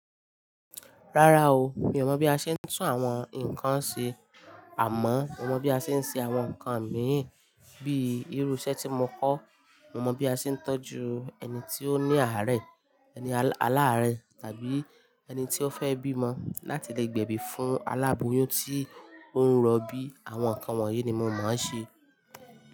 Rárá o, mi ò mọ̀ bí a ṣe ń tún àwọn nǹkan ṣe àmọ́ mo mọ̀ bí a ṣe ń ṣe àwọn nǹkan miì bíi irú iṣẹ́ tí mo kọ́. Mo mọ̀ bí a ṣe ń tọ́jú ẹni tí ó ní àárẹ̀, aláàárẹ̀ tàbí ẹni tí ó fẹ́ bímọ láti le gbẹ̀bí fún aláboyún tí ó ń rọbí. Àwọn nǹkan wọ̀nyí ni mo mọ̀ ọ́n ṣe.